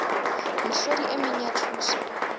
mehlodi e meng ya thuso